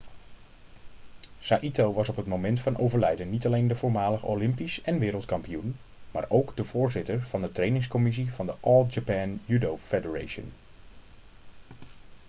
saito was op het moment van overlijden niet alleen de voormalig olympisch en wereldkampioen maar ook de voorzitter van de trainingscommissie van de all japan judo federation